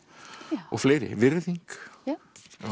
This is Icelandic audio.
og fleiri virðing já